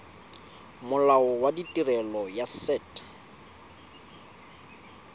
molao wa tirelo ya set